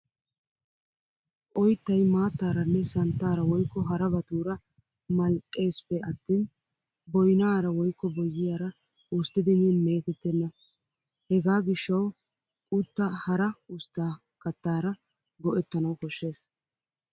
Oyttay maattaaranne santtaara woykko harabatuura maldhdhesippe attin boyyiyaara woykko boynaara usttidi min meetettenna. Hegaa gishshawu quttaa hara ustta kattaara go'ettanawu koshshes.